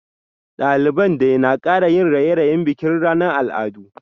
Daliban dai na kara yin raye-rayen bikin ranar al'adu